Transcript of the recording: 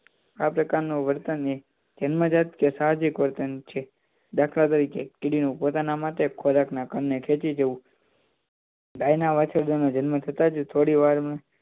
આ પ્રકારના વર્તનને જન્મજાત વર્તન અથવા તો સાહજીક વર્તન છે દાખલ તરીકે કીડી પોતાના માટે ખોરાક ના કણે ખેચી જવું ગાય ના વાછરડાં જન્મ થતાં જ થોડી વાર માં